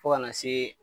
Fo kana se